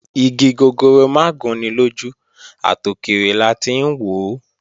Igi gogoro mà gún ni lójú, àtòkèrè la ti ń wòó